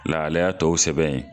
Lahalaya tɔw sɛbɛn yen.